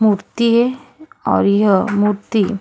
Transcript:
मूर्ति है और यह मूर्ति --